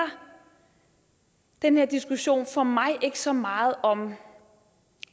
den her diskussion for mig ikke så meget om